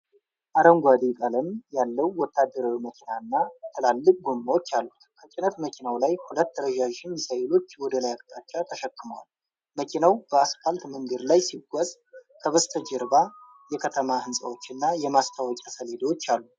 አረንጓዴ ቀለም ያለው ወታደራዊ መኪና ትላልቅ ጎማዎች አሉት። ከጭነት መኪናው ላይ ሁለት ረዣዥም ሚሳኤሎች ወደ ላይ አቅጣጫ ተሸክመዋል። መኪናው በአስፋልት መንገድ ላይ ሲጓዝ፣ ከበስተጀርባ የከተማ ሕንፃዎች እና የማስታወቂያ ሰሌዳዎች አሉ።